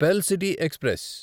pearl city express